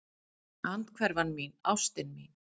Andhverfan mín, ástin mín.